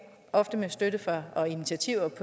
ofte med støtte fra og initiativer